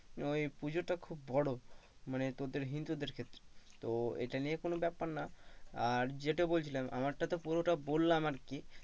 ওই পূজাটা খুব বড় মানে তোদের ওই হিন্দুদের ক্ষেত্রে তো এটা নিয়ে কোন ব্যাপার না আর যেটা বলছিলাম আমার টা পুরোটা বললাম আর কি,